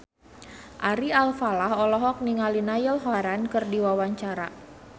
Ari Alfalah olohok ningali Niall Horran keur diwawancara